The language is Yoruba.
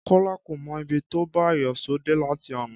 Kọ́lá kò mọ ibi tó bá iyọ̀ṣó dé láti àná